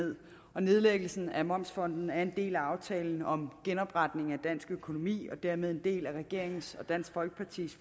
og nedlæggelsen af momsfondet er en del af aftale om genopretning af dansk økonomi og dermed en del af regeringens og dansk folkepartis